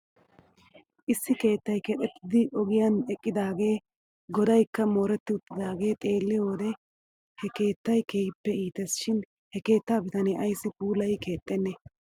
Issi keettay keexettiiddi ogiyan eqqidaagaw godaykka mooretti uttidaagee xeelliyoo wode he keettay keehippe iites shin he keettaa bitanee ayssi puulayi keexxenee